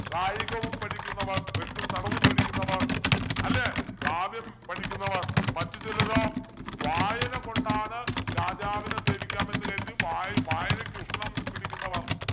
കായികവും പഠിക്കുന്നവർ വെട്ടും തടവും പഠിക്കുന്നവർ അല്ലേ കാവ്യം പഠിക്കുന്നവർ മറ്റു ചിലരോ വായന കൊണ്ടാണ് രാജാവിനെ സേവിക്കാം എന്ന് കരുതി വായ വായനയ്ക്ക് ഉഷ്ണം പഠിക്കുന്നവർ